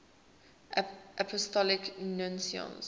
apostolic nuncios